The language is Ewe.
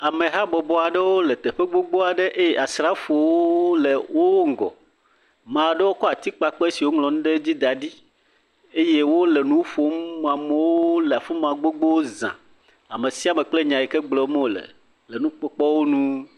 Amehabɔbɔ aɖewo le teƒe aɖe eye asrafowo le wo ŋgɔ eye wokɔ atikpakpe aɖewo si dzi woŋlɔ nu ɖe dzi da ɖi eye ameqo le afi ma gbogbo za ame sia ame kple nya si gblɔm wole.